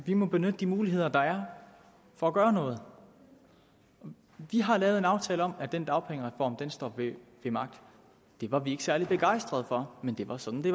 vi må benytte de muligheder der er for at gøre noget vi har lavet en aftale om at den dagpengereform står ved magt det var vi ikke særlig begejstrede for men det var sådan det